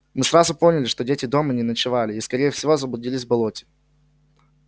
мы сразу поняли что дети дома не ночевали и скорее всего заблудились в болоте